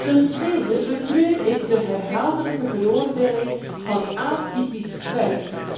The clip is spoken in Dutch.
Ten tweede betreur ik de herhaaldelijke veroordeling van atypisch werk.